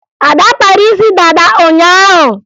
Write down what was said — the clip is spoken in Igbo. Ada kpara isi dada ụnyaahụ